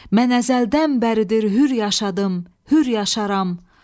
Mən əzəldən bəridir hür yaşadım, hür yaşaram.